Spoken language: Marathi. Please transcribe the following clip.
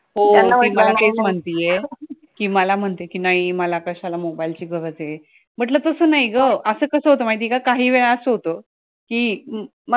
हो ती मला तेच म्हणतीये कि मला म्हणते कि नाही मला कशाला mobile ची गरज ए, म्हटलं तसं नाही गं असं कसं होता माहितीये का काही वेळा असं कसं होतं कि